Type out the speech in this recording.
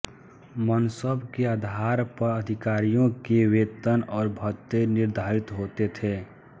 मनसब के आधार पर अधिकारियों के वेतन और भत्ते निर्धारित होते थे